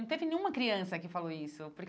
Não teve nenhuma criança que falou isso. Porque